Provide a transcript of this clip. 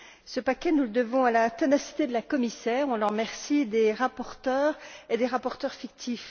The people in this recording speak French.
Ce paquet, nous le devons à la ténacité de la commissaire on l'en remercie des rapporteurs et des rapporteurs fictifs.